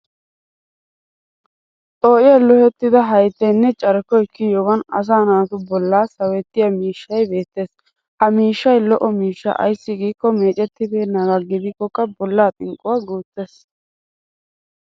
Xoo'iyaa laa'ettida haattaynne carkkoy kiyiyoogan asaa naatu bolla sawettiya miishshay beettes. Ha miishshay lo'o miishsha ayssi giikko meecettabeennagaa gidikkokka bollaa xinqquwaa guuttes.